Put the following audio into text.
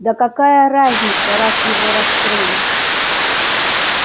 да какая разница раз его раскрыли